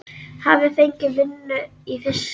Hafi fengið vinnu í fiski.